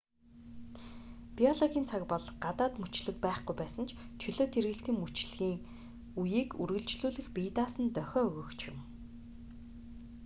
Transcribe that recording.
биологийн цаг бол гадаад мөчлөг байхгүй байсан ч чөлөөт эргэлтийн мөчлөгийн үеийг үргэлжлүүлэх бие даасан дохио өгөгч юм